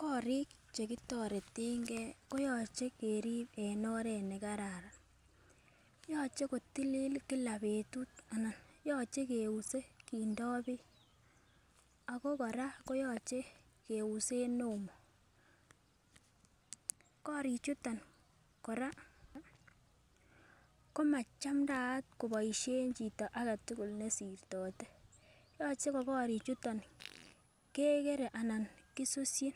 Korik chekitoretengei konyolu irib en oret nekararan, yoche kotililen kila betut anan koyoche keuse ak beek ako kora kiusen omo. Korichuton kora komonyolu koboisien chito aketugul nesirtote ,yoche kekere ana kesusyi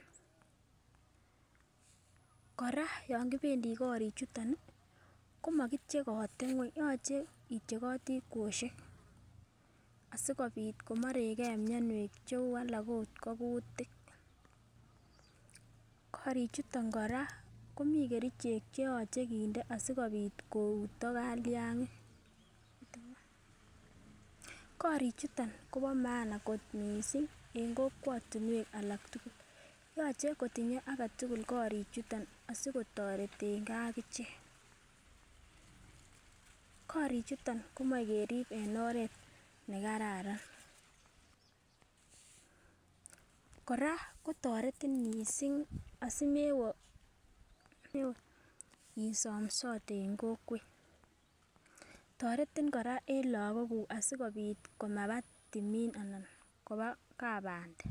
ako yon kibendi kori chuton komakityeche ngweny' kityeche kweyosiek aimoreke myonwek cheu kutik. Korichuto kora komi kerichek chekindo asikobit kouto kalyangik, bo maana en kokwet aketugul yoche kotinye korik tugul sikotoretengei akichek, moche kerib en oret nekararan ,kora kotoretin aimesomsote en kokwet ak en lagok komaba tumin anan koba kabande.